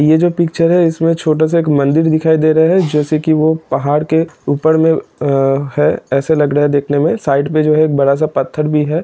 यह जो पिक्चर है इसमें छोटा सा एक मंदिर दिखाई दे रहा है जैसा की वो पहाड़ के ऊपर में अ -है ऐसा लग रहा है देखने में साइड में जो एक बड़ा सा पत्थर भी है।